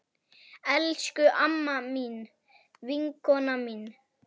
Elsku amma mín, vinkona mín.